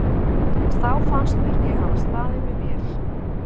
og þá fannst mér ég hafa staðið mig vel.